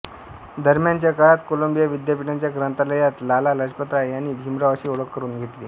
दरम्यानच्या काळात कोलंबिया विद्यापीठाच्या ग्रंथालयात लाला लजपतराय यांनी भीमरावांशी ओळख करून घेतली